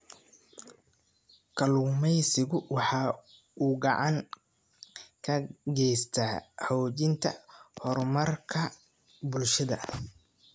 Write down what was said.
Kalluumaysigu waxa uu gacan ka geystaa xoojinta horumarka bulshada.